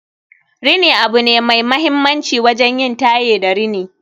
rini abu ne mai mahimmanci wajen yin taye da rini